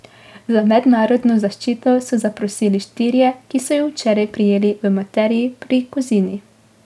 Za mednarodno zaščito so zaprosili štirje, ki so jih včeraj prijeli v Materiji pri Kozini.